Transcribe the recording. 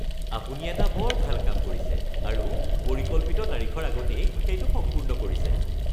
আপুনি এটা বৰ ভাল কাম কৰিছে আৰু পৰিকল্পিত তাৰিখৰ আগতেই সেইটো সম্পূৰ্ণ কৰিছে